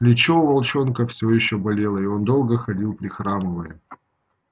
плечо у волчонка все ещё болело и он долго ходил прихрамывая